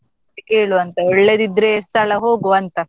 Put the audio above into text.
ಕೇಳುವಂತ, ಒಳ್ಳೆದಿದ್ರೆ ಸ್ಥಳ ಹೋಗುವಂತ.